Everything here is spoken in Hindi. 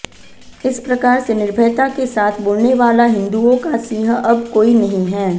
इस प्रकार से निर्भयता के साथ बोलनेवाला हिन्दूओं का सिंह अब कोई नहीं है